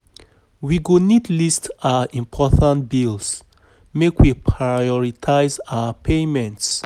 We go need list our important bills, make we prioritize our payments